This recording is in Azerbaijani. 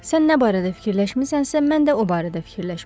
Sən nə barədə fikirləşmisənsə, mən də o barədə fikirləşmişəm.